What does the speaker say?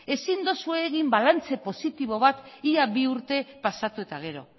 ere ez ezin duzue egin balantza positibo bat ia bi urte pasatu eta gero